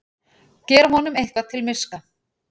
Gera honum eitthvað til miska!